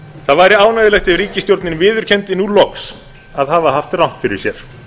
það væri ánægjulegt ef ríkisstjórnin viðurkenndi nú loks að hafa haft rangt fyrir sér